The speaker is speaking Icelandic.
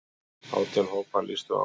Átján hópar lýstu áhuga.